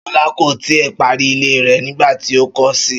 Ṣọlá kò tí ì parí ilé rẹ̀ nígbà tí ó kó si